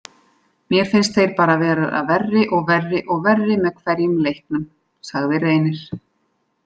Mér finnst þeir bara vera verri og verri og verri með hverjum leiknum, sagði Reynir.